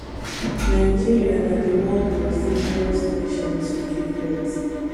nigeria na di world most dangerous nation to give birth